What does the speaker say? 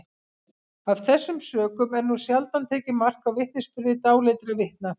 af þessum sökum er nú sjaldan tekið mark á vitnisburði dáleiddra vitna